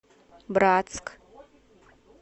братск